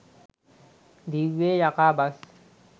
දිව්වේ යකා බස්